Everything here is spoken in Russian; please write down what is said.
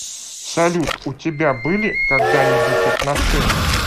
салют у тебя были когда нибудь отношения